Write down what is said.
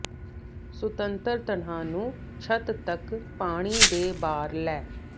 ਸੁਤੰਤਰ ਤਣਾਅ ਨੂੰ ਛੱਤ ਤੱਕ ਪਾਣੀ ਦੇ ਬਾਹਰ ਲੈ